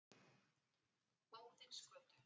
Óðinsgötu